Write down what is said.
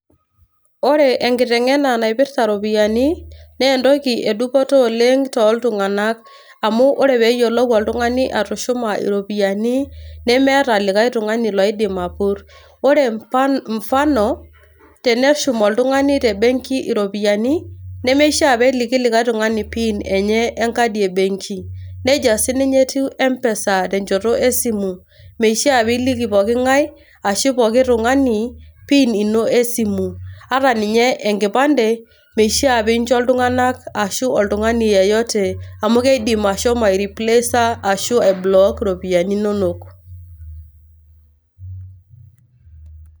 Ore enkiteng`ena naipirta ropiyiani naa entoki e dupoto oleng too iltung`anak. Amu ore pee eyiolou oltung`ani atushuma iropiyiani nemeeta likae tung`ani oidim apurr. Ore mfano teneshum oltung`ani te benki iropiyiani nemeishia pee eliki likae tung`ani pin enye enkadi e benki. Nejia sii ninye etiu e mpesa tenchoto e simu, meishia pee eliki poki ng`ae ashu poki tung`ani pin ino e simu. Ata ninye enkipande meishia pee injo iltung`anak arashu oltung`ani yeyote amu keidim ashomo aireplesa ashu ai block irropiyiani inonok.